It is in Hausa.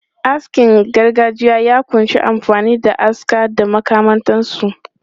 Askin gargajiya ya kunshi amfani da aska da makamantansu.